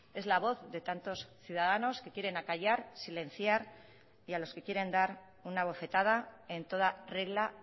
es la voz de tantos ciudadanos que quieren acallar silenciar y a los que quieren dar una bofetada en toda regla